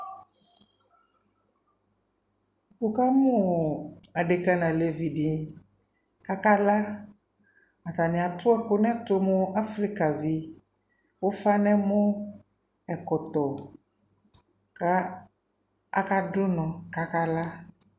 Wu ka mu ɔɔ adeka na lɛvi di Aka laAtani atu ɛku nɛ tu mu Afika viufa nɛ mɔ, ɛkɔtɔ, ka aka du nɔ kaka la